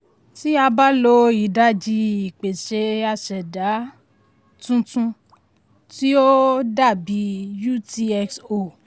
tí a bá lo ìdajì ìpèsè a ṣẹ̀dá um tuntun tí ó um dàbí utxo.